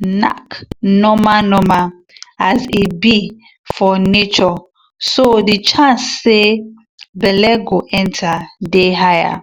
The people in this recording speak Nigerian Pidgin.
knack normal normal as he be for natureso the chance say belle go enter day higher.